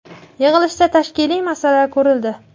Yig‘ilishda tashkiliy masala ko‘rildi.